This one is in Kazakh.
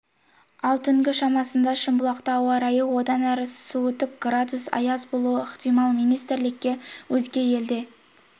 ал түнгі шамасында шымбұлақта ауа райы одан әрі суытып градус аяз болуы ықтимал министрлікке өзге елде